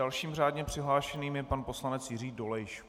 Dalším řádně přihlášeným je pan poslanec Jiří Dolejš.